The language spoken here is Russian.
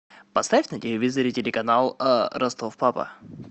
поставь на телевизоре телеканал ростов папа